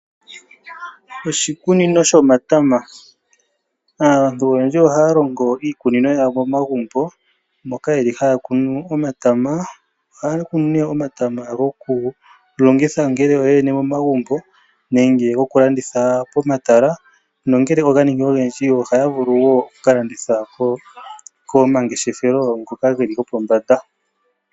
Oshikunino shomatama, aantu oyendji ohaya longo iikunino yawo momagumbo moka yeli hayakunu omatama. Ohaya kunu omatama gokulongitha ngele yoyene momagumbo nenge gokulanditha pomatala, nongele oga ningi ogendji ohaya zulu okuka landithila komangeshefelo ngoka geli gopombanda.